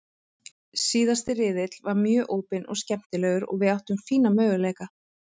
Síðasti riðill var mjög opinn og skemmtilegur og við áttum fína möguleika.